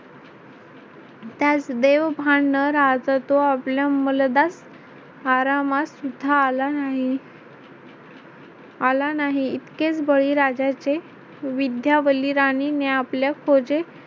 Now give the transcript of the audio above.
त्यास देव भान न राहता तो आपल्या मलदास आरामात सुद्धा आला नाही. आला नाही इतकेच बळीराजाचे विद्यावल्ली राणीने आपल्या खोजे